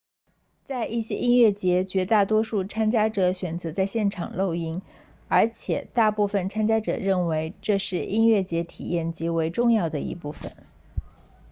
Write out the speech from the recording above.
在一些音乐节绝大多数参加者选择在现场露营而且大部分参加者认为这是音乐节体验极为重要的一部分